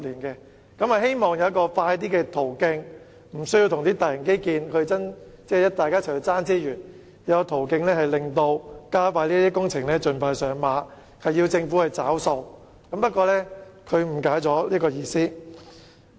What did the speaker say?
因此，我希望不用與大型基建爭奪資源，而有較快途徑讓這些工程盡快上馬，要求政府"找數"，但張議員誤解了我的意思。